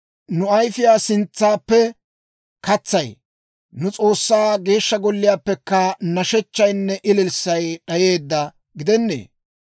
Nu ayifiyaa sintsaappe katsay, nu S'oossaa Geeshsha Golliyaappe nashechchaynne ililssay d'ayeedda gidennee?